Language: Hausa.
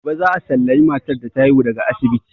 Gobe za a sallami matar da ta haihu daga asibiti.